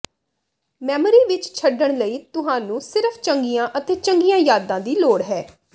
memory ਵਿੱਚ ਛੱਡਣ ਲਈ ਤੁਹਾਨੂੰ ਸਿਰਫ ਚੰਗੀਆਂ ਅਤੇ ਚੰਗੀਆਂ ਯਾਦਾਂ ਦੀ ਲੋੜ ਹੈ